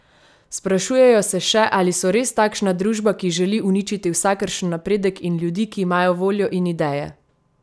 Sprašujejo se še, ali so res takšna družba, ki želi uničiti vsakršen napredek in ljudi, ki imajo voljo in ideje?